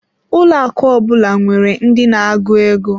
Ụlọ akụ ọ bụla nwere ndi na-agụ ego.